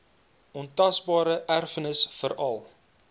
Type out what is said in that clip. ontasbare erfenis veral